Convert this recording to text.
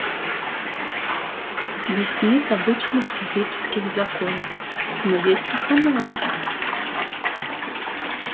здесь нет обычных физических законов но есть их аналоги